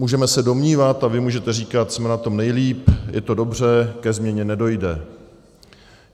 Můžeme se domnívat a vy můžete říkat: jsme na tom nejlíp, je to dobře, ke změně nedojde.